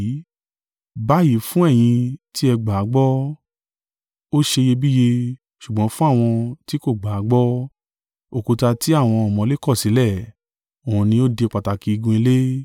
Báyìí fún ẹ̀yin ti ẹ gbà á gbọ́, ó ṣe iyebíye; ṣùgbọ́n fún àwọn tí kò gbà á gbọ́, “Òkúta tí àwọn ọ̀mọ̀lé kọ̀sílẹ̀, òun ni ó di pàtàkì igun ilé,”